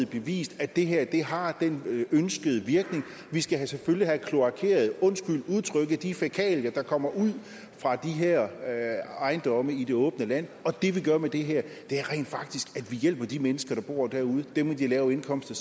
bevist at det her har den ønskede virkning vi skal selvfølgelig have kloakeret for de fækalier der kommer ud fra de her ejendomme i det åbne land og det vi gør med det her er rent faktisk at vi hjælper de mennesker der bor derude altså dem med de lave indkomster